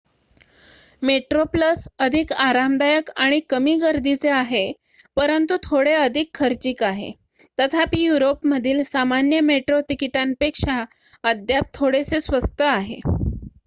Metro Plus अधिक आरामदायक आणि कमी गर्दीचे आहे परंतु थोडे अधिक खर्चिक आहे तथापि युरोपमधील सामान्य मेट्रो तिकीटांपेक्षा अद्याप थोडेसे स्वस्त आहे